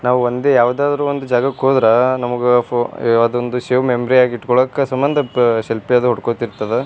ನಾವು ಒಂದೇ ಯಾವುದಾದರು ಜಾಗಕ್ಕೆ ಹೋದ್ರೆ ನಮಗೆ ಯಾವುದೊಂದು ಸೆ ಮೆಮೊರಿ ಆಗಿ ಇಟ್ಕೋಳಕ್ಕೆ ಸಂಬಂಧ ಇರ್ತದೆ ಸೆಲ್ಫಿ ಯಾದರು ಹುಡ್ಕೋತಿರ್ತವೆ.